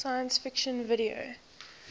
science fiction video